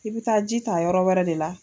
I bi taa ji ta yɔrɔ wɛrɛ de la